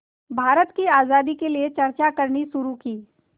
भारत की आज़ादी के लिए चर्चा करनी शुरू की